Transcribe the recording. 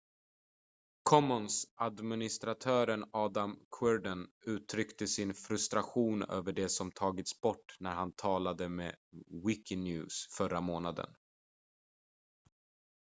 commons-administratören adam cuerden uttryckte sin frustration över det som tagits bort när han talade med wikinews förra månaden